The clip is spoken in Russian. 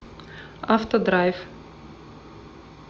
автодрайв